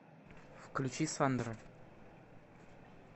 включи сандра